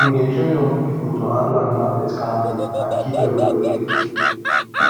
we dey train young people to handle animal birth calmly and keep everywhere clean